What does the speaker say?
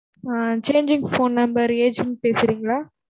ஆஹ் changing phone number agent பேசுறீங்களா?